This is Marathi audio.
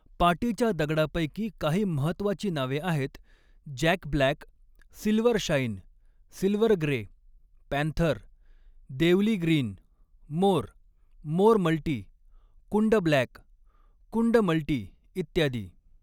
पाटीच्या दगडापैकी काही महत्वाची नावे आहेत, jack black, silver shine, silver grey, panther, Devli green, मोर, मोर multi, Kund black, Kund multi इत्यादी.